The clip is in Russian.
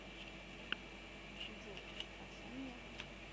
джой совсем нет